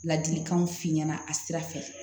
Ladilikanw f'i ɲɛna a sira fɛ